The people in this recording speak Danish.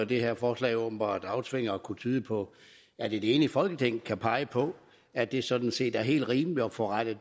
det her forslag åbenbart aftvinger og det kunne tyde på at et enigt folketing kan pege på at det sådan set er helt rimeligt at få rettet